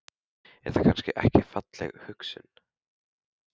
Er það kannski ekki falleg hugsjón?